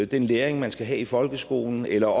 den læring man skal have i folkeskolen eller